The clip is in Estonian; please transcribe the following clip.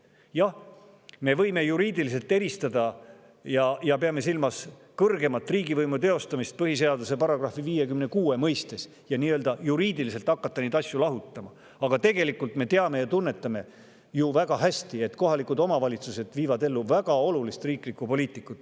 Jah, me võime juriidiliselt eristada, pidada silmas kõrgeima riigivõimu teostamist põhiseaduse § 56 ja hakata juriidiliselt neid asju lahutama, aga tegelikult me väga hästi teame ja tunnetame, et kohalikud omavalitsused viivad ellu väga olulist riiklikku poliitikat.